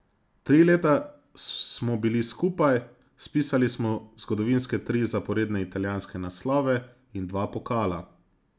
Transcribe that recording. Tri leta smo bili skupaj, spisali smo zgodovinske tri zaporedne italijanske naslove in dva pokala.